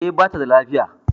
E, bata da lafiya